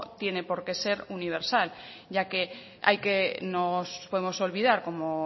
tiene por qué se universal ya que hay que no nos podemos olvidar como